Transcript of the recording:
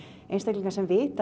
einstaklingar sem vita